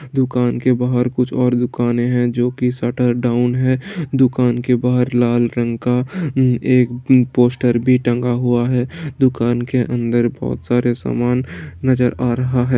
दुकान के बाहर कुछ और दुकानें हैं जो की शटर डाउन है | दुकान के बाहर लाल रंग का एक पोस्टर भी टेंगा हुआ है | दुकान के अंदर बहुत सारे सामान नजर आ रहा है।